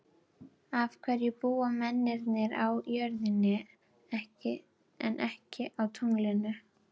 Af hverju búa mennirnir á jörðinni en ekki á tunglinu?